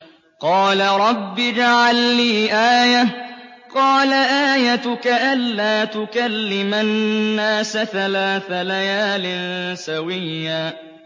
قَالَ رَبِّ اجْعَل لِّي آيَةً ۚ قَالَ آيَتُكَ أَلَّا تُكَلِّمَ النَّاسَ ثَلَاثَ لَيَالٍ سَوِيًّا